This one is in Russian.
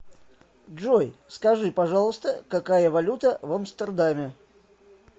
джой скажи пожалуйста какая валюта в амстердаме